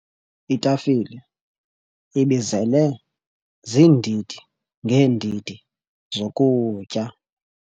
Itafile ibizele ziindidi ngeendidi zokutya.